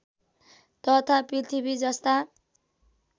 तथा पृथ्वी जस्ता